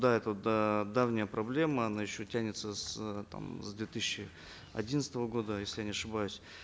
да это давняя проблема она еще тянется с э там с две тысячи одиннадцатого года если я не ошибаюсь